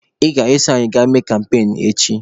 Ị ga-eso anyị gaa mee kampain echi!